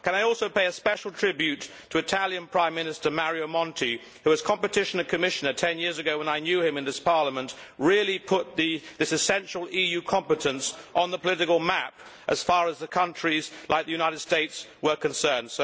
Can I also pay a special tribute to Italian Prime Minister, Mario Monti, who, as competition Commissioner 10 years ago when I know him in this Parliament, really put this essential EU competence on the political map as far as the countries like the United States were concerned.